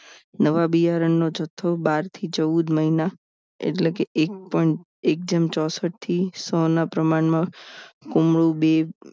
નવા બિયારણનો જથ્થો બાર થી ચૌદ મહિના એટલે કે એક પણ એક જેમ ચોસઠ થી સો ના પ્રમાણમાં કુમરૂ બે